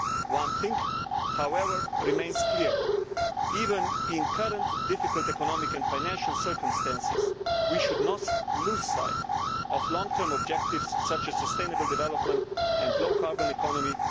One thing, however, remains clear even in the current difficult economic and financial circumstances, we should not lose sight of long term objectives such as sustainable development and the low carbon economy.